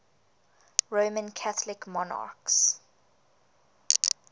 roman catholic monarchs